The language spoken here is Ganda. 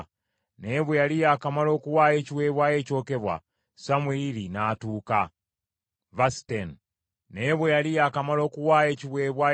Naye bwe yali yakamala okuwaayo ekiweebwayo ekyokebwa, Samwiri n’atuuka. Sawulo n’agenda okumwaniriza.